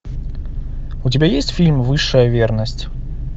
у тебя есть фильм высшая верность